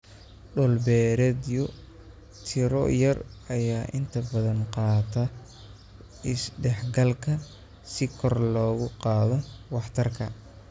Dhul-beereedyo tiro yar ayaa inta badan qaata is-dhexgalka si kor loogu qaado waxtarka.